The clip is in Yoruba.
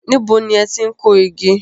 Níbo ni ẹ ti n kó igi?